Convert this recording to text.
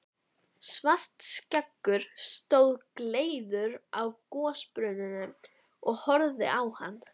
Svartskeggur stóð gleiður hjá gosbrunninum og horfði á hann.